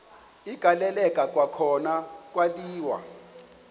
agaleleka kwakhona kwaliwa